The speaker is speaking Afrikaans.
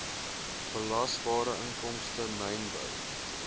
belasbare inkomste mynbou